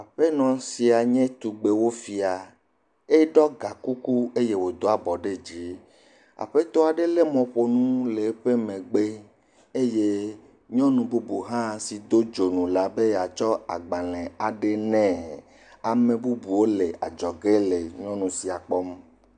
Aƒenɔ sia nye tugbewofia. Eɖɔ ga kuku eye wodo abɔ ɖe dzi. Aƒetɔ aɖe le mɔƒonu le eƒe megbe eye nyɔnu bubu hã si do dzonu la be yeatsɔ agbalẽ aɖe nɛ. Ame bubuwo le adzɔge le nyɔnu sia kpɔm.